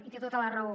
i té tota la raó